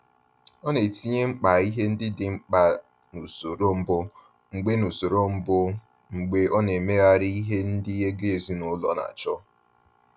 Ọ na-etinye mkpa ihe ndị dị mkpa n’usoro mbụ mgbe n’usoro mbụ mgbe ọ na-emegharị ihe ndị ego ezinụlọ na-achọ.